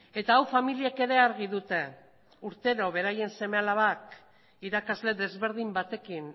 eta hau familiek ere argi dute urtero beraien seme alabak irakasle desberdin batekin